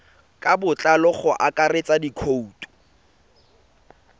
ka botlalo go akaretsa dikhoutu